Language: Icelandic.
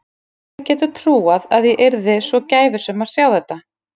Hver hefði getað trúað að ég yrði svo gæfusöm að sjá þetta.